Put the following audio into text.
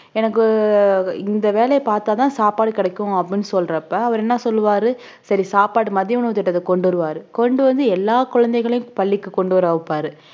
எனக்கு ஆஹ் இந்த வேலையை பார்த்தா தான் சாப்பாடு கிடைக்கும் அப்படின்னு சொல்றப்ப அவர் என்ன சொல்லுவாரு சரி சாப்பாடு மதிய உணவுத் திட்டத்தை கொண்டு வருவார் கொண்டு வந்து எல்லா குழந்தைகளையும் பள்ளிக்கு கொண்டு வர வைப்பாரு